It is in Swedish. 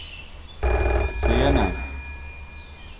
scenen